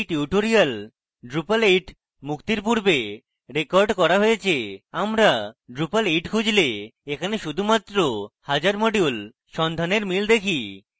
এই tutorial drupal 8 মুক্তির পূর্বে রেকর্ড করা হয়েছে আমরা drupal 8 খুঁজলে এখানে শুধুমাত্র 1000 মডিউল সন্ধানের মিল দেখি